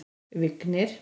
Vignir